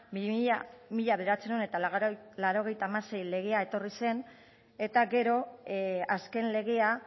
mila bederatziehun eta laurogeita hamasei legea etorri zen eta gero azken legea